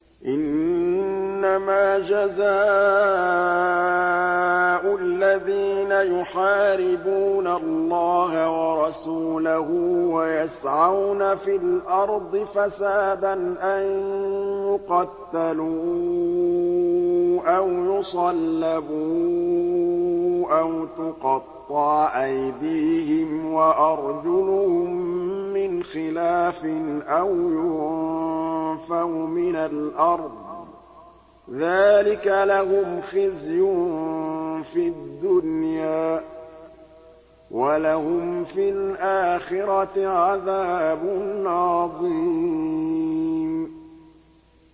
إِنَّمَا جَزَاءُ الَّذِينَ يُحَارِبُونَ اللَّهَ وَرَسُولَهُ وَيَسْعَوْنَ فِي الْأَرْضِ فَسَادًا أَن يُقَتَّلُوا أَوْ يُصَلَّبُوا أَوْ تُقَطَّعَ أَيْدِيهِمْ وَأَرْجُلُهُم مِّنْ خِلَافٍ أَوْ يُنفَوْا مِنَ الْأَرْضِ ۚ ذَٰلِكَ لَهُمْ خِزْيٌ فِي الدُّنْيَا ۖ وَلَهُمْ فِي الْآخِرَةِ عَذَابٌ عَظِيمٌ